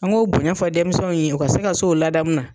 An k'o bonɲɛ fɔ denmisɛnw ye u ka se ka se o ladaamu na.